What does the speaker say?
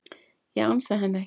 Ég ansa henni ekki.